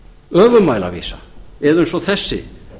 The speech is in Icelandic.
öfugmælavísa eða eins og þessi